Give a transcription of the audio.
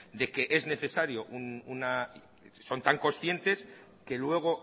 de que es necesario una son tan conscientes que luego